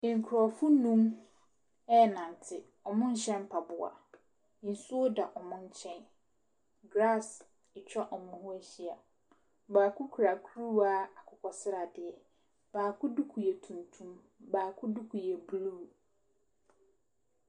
Nkurɔfo nnum ɛrenante, wɔnhyɛ mpaboa, nsuo da wɔn nkyɛn, grass atwa wɔn ho ahyia. Baako kura kuruwa akokɔsradeɛ, baako duku yɛ tuntum, baako duku yɛ blue.